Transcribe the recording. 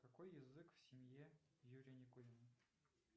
какой язык в семье юрия никулина